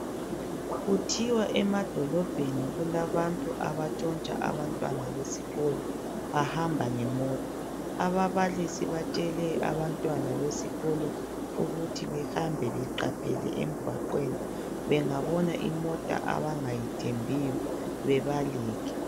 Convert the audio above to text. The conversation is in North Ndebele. Kuthiwa emadolobheni kulabantu abatshontsha abantwana besikolo bahamba ngemota. Ababalisi batshele abantwana besikolo ukuthi behambe beqaphele emgwaqweni bengabona imota abangayithembiyo bebaleke.